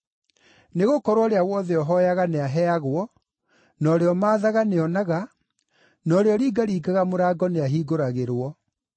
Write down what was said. Nĩgũkorwo ũrĩa wothe ũhooyaga nĩaheagwo; na ũrĩa ũmaathaga nĩonaga; na ũrĩa ũringaringaga mũrango nĩahingũragĩrwo.